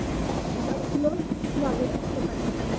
আহ ভারতীয় নাগরিক হতে পারবি না।